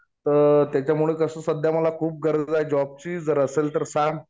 तर त्याच्यामुळं कसं मला खूप गरज आहे जॉबची. जर असेल तर सांग.